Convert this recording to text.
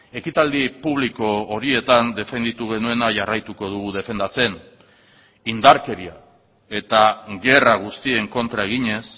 ekitaldi publiko horietan defenditu genuena jarraituko dugu defendatzen indarkeria eta gerra guztien kontra eginez